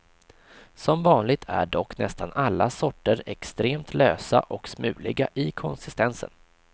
Som vanligt är dock nästan alla sorter extremt lösa och smuliga i konsistensen.